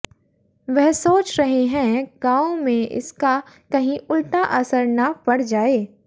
वह सोच रहे हैं गांवों में इसका कहीं उल्टा असर न पड़ जाए